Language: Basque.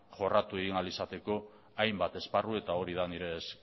jorratu egin ahal izateko hainbat esparru eta hori da nire